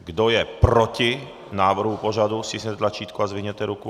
Kdo je proti návrhu pořadu, stiskněte tlačítko a zvedněte ruku.